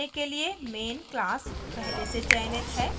run होने के लिए main class पहले ही चयनित है